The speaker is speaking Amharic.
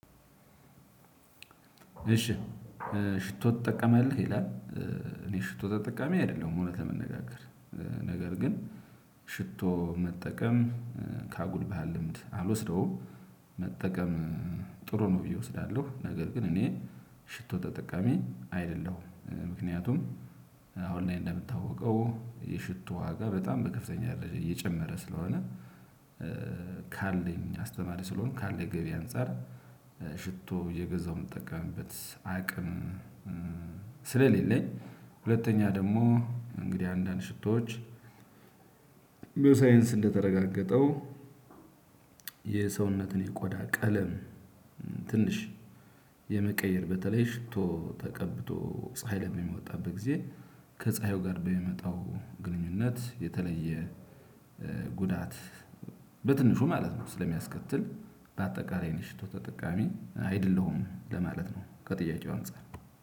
እሺ ሽቶ ትጠቀማለህ ይላል? እኔ ሽቶ ተጠቃሚ አይደለሁም እውነት ለመነጋገር ነገር ግን ሽቶ መጠቀም ከአጉል ባህል ልምድ አልወስደውም። መጠቀም ጥሩ ነው ብዬ እወስዳለሁ። ነገር ግን እኔ ሽቶ ተጠቃሚ አይደለሁም ምክንያቱም አሁን እኔ እንደምታወቀው የሽቶ ዋጋ በጣም በከፍተኛ ደረጃ እየጨመረ ስለሆነ። ካለኝ አስተማሪ ስለሆንኩ ካለኝ ገቢ አንፃር ሽቶ እየገዛሁ የምጠቀምበት አቅም። ስለሌለኝ ሁለተኛ ደግሞ። እንግዲህ አንዳንድ ሽቶዎች። በሳይንስ እንደተረጋገጠው። የሰውነትን የቆዳ ቀለም ትንሽ የመቀየር በተለይ ሽቶ ተቀብቶ ፀሀይ ለሚወጣበት ጊዜ ከ ፀሃዩ ጋር በሚመጣው ግንኙነት የተለየ ጉዳት በትንሹ ማለት ነው። ስለሚያስከትል ባጠቃላይ እኔ ሽቶ ተጠቃሚ አደለሁም ለማለት ነው። ከጥያቄው አንፃር